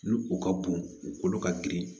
Ni o ka bon u kolo ka girin